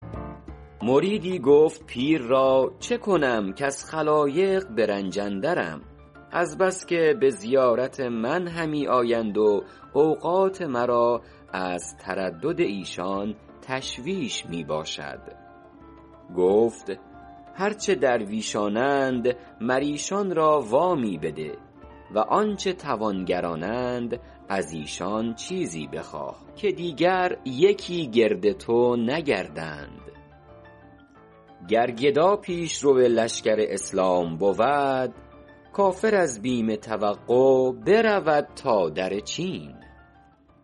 مریدی گفت پیر را چه کنم کز خلایق به رنج اندرم از بس که به زیارت من همی آیند و اوقات مرا از تردد ایشان تشویش می باشد گفت هر چه درویشانند مر ایشان را وامی بده و آنچه توانگرانند از ایشان چیزی بخواه که دیگر یکی گرد تو نگردند گر گدا پیشرو لشکر اسلام بود کافر از بیم توقع برود تا در چین